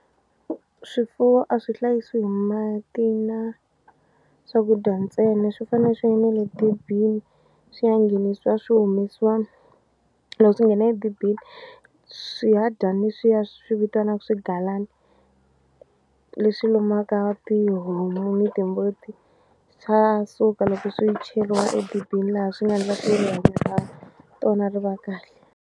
Swifuwo a swi hlayisiwi hi mati na swakudya ntsena swi fane swi ya na le dibini swi ya nghenisiwa swi humesiwa loko swi nghena edibini swihadyani leswiya swi vitanaku swigalani leswi lombaka tihomu ni timbuti swa suka loko swi cheriwa edibini laha swi nga ndla ka tona ri va kahle.